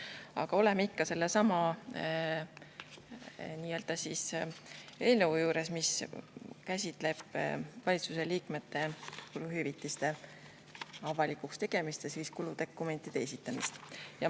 Aga ei, me oleme ikka sellesama eelnõu juures, mis käsitleb valitsuse liikmete avalikuks tegemist ja kuludokumentide esitamist.